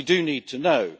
We do need to know.